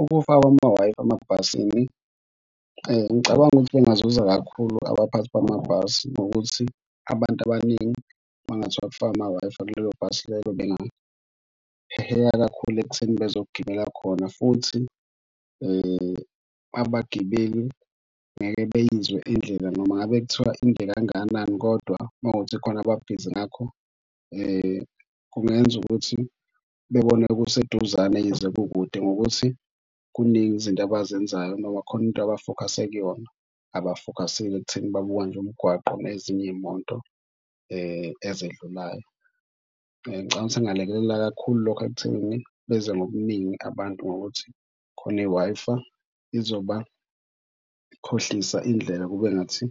Ukufakwa kwama-Wi-Fi emabhasini, ngicabanga ukuthi kungazuza kakhulu abaphathi bamabhasi ngokuthi abantu abaningi uma kungathiwa kufakwa ama-Wi-Fi kulelo bhasi lelo. Bengaheheka kakhulu ekutheni bezogibela khona futhi abagibeli ngeke beyizwe indlela noma ngabe kuthiwa inde kangakanani kodwa uma kuwukuthi kukhona ababhizi ngakho kungenza ukuthi bebone kuseduzane yize kukude ngokuthi kuningi izinto abazenzayo noma khona into abafokhase kuyona abafokhasile ekutheni babuka nje umgwaqo nezinye iy'moto ezedlulayo. Ngicabanga kungalekelela kakhulu lokho ekuthenini, beze ngobuningi abantu ngokuthi khona i-Wi-Fi izobakhohlisa indlela kube ngathi